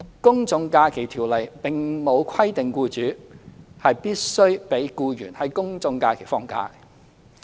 《公眾假期條例》並沒有規定僱主必須讓僱員在公眾假期放假。